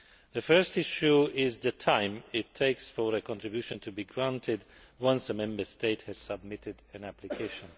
The first issue is the time it takes for a contribution to be granted once a Member State has submitted an application.